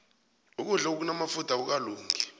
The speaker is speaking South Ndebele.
ukudlo okunamafutha akukalungi